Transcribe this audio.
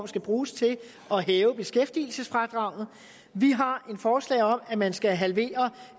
skal bruges til at hæve beskæftigelsesfradraget vi har et forslag om at man skal halvere